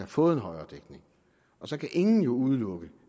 fået en højere dækning og så kan ingen jo udelukke